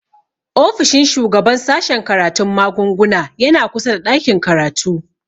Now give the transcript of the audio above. Ofishin shugaban sashen karatun magunguna yana kusa da ɗakin karatu